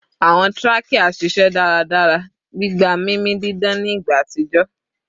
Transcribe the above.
Awọn trachea ṣiṣẹ daradara, gbigba mimi didan ni igba atijọ